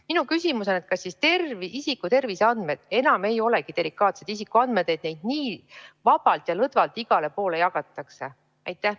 Minu küsimus on: kas siis isiku terviseandmed enam ei olegi delikaatsed isikuandmed, et neid nii vabalt ja lõdvalt igale poole jagatakse?